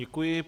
Děkuji.